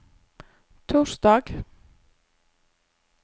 torsdag